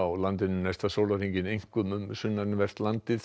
landinu næsta sólarhringinn einkum um sunnanvert landið